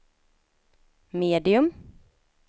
medium